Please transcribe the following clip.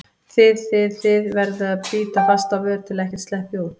þið þið, þið- verður að bíta fast á vör til að ekkert sleppi út.